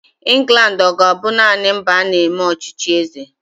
England ọ ga-abụ naanị mba a na-eme ọchịchị eze?